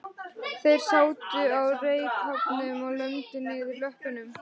Þeir sátu á reykháfnum og lömdu niður löppunum.